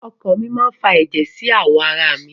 Ọkan mi máa fa ẹ̀jẹ̀ sí àwọn ara mi.